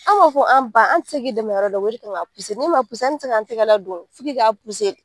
An b'a fɔ an ba an te se k'i dɛmɛ o yɔrɔ dɔ w'e kan ka puse n'e m'a puse an te se g'an tɛgɛ la don f'i k'i puse de